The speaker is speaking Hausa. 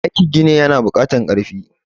aikin gini yana bukatar karfi